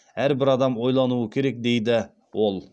әрбір адам ойлануы керек дейді ол